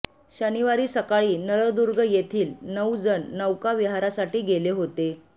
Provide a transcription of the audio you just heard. शनिवारी सकाळी नळदुर्ग येथील नऊ जण नौका विहारांसाठी गेले होते